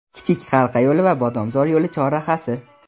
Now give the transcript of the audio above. Kichik halqa yo‘li va Bodomzor yo‘li chorrahasi.